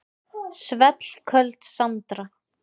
Svellköld Sandra.